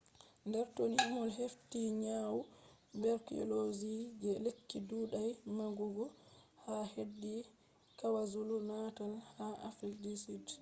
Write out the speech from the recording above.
dr. tony moll hefti nyawu tuberculosis je lekki ɗuɗai magugo xdr_tb ha hedi kwazulu-natal ha south africa